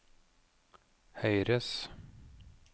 høyres